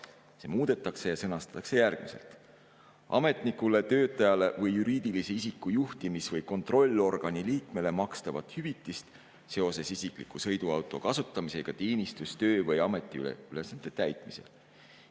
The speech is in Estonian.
See muudetakse ja sõnastatakse järgmiselt: " ametnikule, töötajale või juriidilise isiku juhtimis‑ või kontrollorgani liikmele makstavat hüvitist seoses isikliku sõiduauto kasutamisega teenistus‑, töö‑ või ametiülesannete täitmisel.